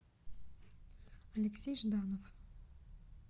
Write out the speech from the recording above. алексей жданов